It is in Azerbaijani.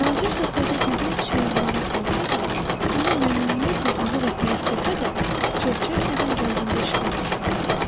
Balaca şahzadə gözəl çiçəyə vurulmuş olsa da, ona məmnuniyyətlə qulluq etmək istəsə də, çox çəkmədən qəlbində şübhə baş qaldırdı.